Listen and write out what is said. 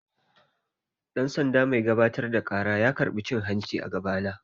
Dan-sanda mai gabatar da ƙara ya karɓa cin-hanci a gaba na.